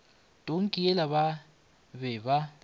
tonki yela ba be ba